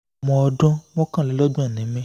ọmọ ọdún mọ́kànlélọ́gbọ̀n ni mí